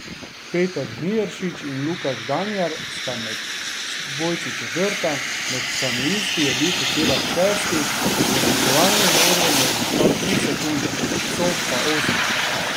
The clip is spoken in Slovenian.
Peter Žnidaršič in Luka Žganjar sta bila med dvojci četrta, med kanuisti je bil Hočevar šesti, za zmagovalnim odrom je zaostal tri sekunde, Cof pa osmi.